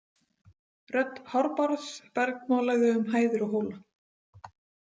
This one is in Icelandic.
Rödd Hárbarðs bergmálaði um hæðir og hóla.